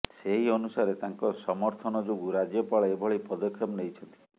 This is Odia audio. ସେହି ଅନୁସାରେ ତାଙ୍କ ସମର୍ଥନ ଯୋଗୁ ରାଜ୍ୟପାଳ ଏଭଳି ପଦକ୍ଷେପ ନେଇଛନ୍ତି